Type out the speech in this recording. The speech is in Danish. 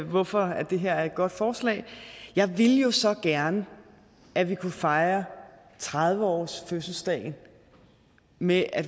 hvorfor det her er et godt forslag jeg ville jo så gerne at vi kunne fejre tredive årsfødselsdagen med at